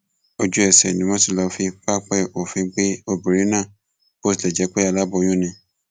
ojúẹsẹ ni wọn ti lọọ fi pápẹ òfin gbé obìnrin náà bó tilẹ jẹ pé aláboyún ni